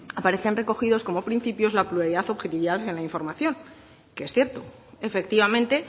aparecen recogidos como principios la pluralidad y objetividad en la información que es cierto efectivamente